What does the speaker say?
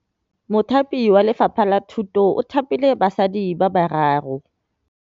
Mothapi wa Lefapha la Thutô o thapile basadi ba ba raro.